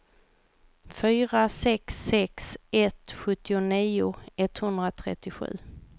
fyra sex sex ett sjuttionio etthundratrettiosju